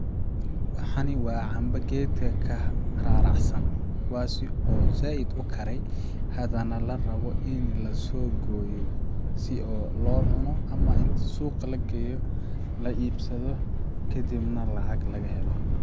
Waxani waa camba geedka ka raaracsan kuwaasi oo zaid ukarey hada nah larabo in lasoo gooyo si oo loo cuno ama inti suuqa lageeyo la iibsado kadib nah lacag nah lagahelo.